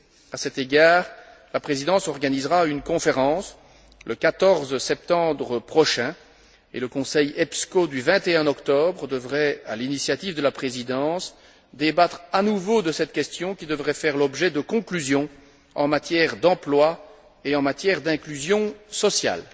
À cet égard, la Présidence organisera une conférence, le 14 septembre prochain, et le Conseil EPSCO du 21 octobre devrait, à l'initiative de la Présidence, débattre à nouveau de cette question, qui devrait faire l'objet de conclusions en matière d'emploi et en matière d'inclusion sociale.